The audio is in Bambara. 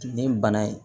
Nin bana in